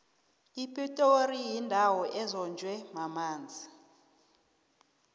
ipitori yindawo ezonjwe mamanzi